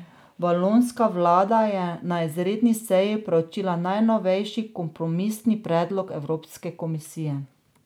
Valonska vlada je na izredni seji preučila najnovejši kompromisni predlog Evropske komisije.